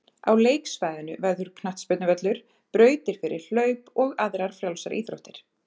Á leiksvæðinu verður knattspyrnuvöllur, brautir fyrir hlaup og aðrar frjálsar íþróttir.